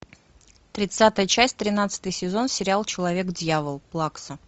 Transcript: тридцатая часть тринадцатый сезон сериал человек дьявол плакса